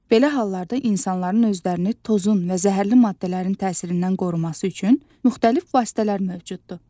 Belə hallarda insanların özlərini tozun və zəhərli maddələrin təsirindən qoruması üçün müxtəlif vasitələr mövcuddur.